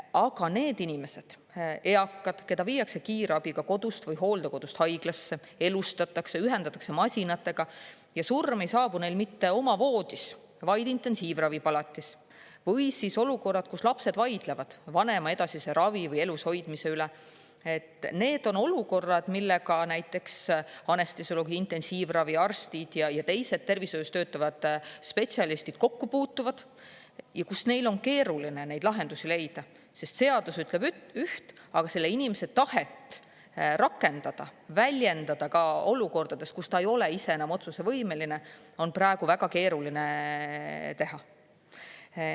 Aga need inimesed – eakad, keda viiakse kiirabiga kodust või hooldekodust haiglasse, elustatakse, ühendatakse masinatega, ja surm ei saabu neil mitte oma voodis, vaid intensiivravipalatis – või olukorrad, kus lapsed vaidlevad vanema edasise ravi või elushoidmise üle, need on olukorrad, millega näiteks anestesioloog-intensiivraviarstid ja teised tervishoius töötavad spetsialistid kokku puutuvad ja kus neil on keeruline neid lahendusi leida, sest seadus ütleb üht, aga selle inimese tahet rakendada, väljendada ka olukordades, kus ta ei ole ise enam otsusevõimeline, on praegu väga keeruline teha.